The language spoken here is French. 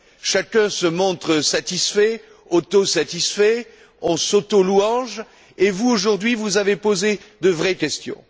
Chacun se montre satisfait, auto satisfait, on s'auto louange et pourtant vous, aujourd'hui, vous avez posé de vraies questions.